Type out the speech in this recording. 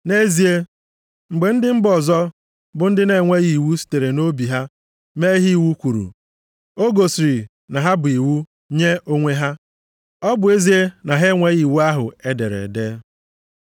Nʼezie, mgbe ndị mba ọzọ bụ ndị na-enweghị iwu sitere nʼobi ha mee ihe iwu kwuru, o gosiri na ha bụ iwu nye onwe ha, ọ bụ ezie na ha enweghị iwu ahụ e dere ede.